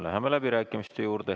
Läheme läbirääkimiste juurde.